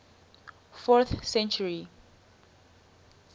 fourth century